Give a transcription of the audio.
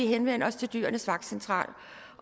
henvende os til dyrenes vagtcentral